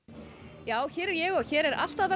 já hér er ég og hér er allt að verða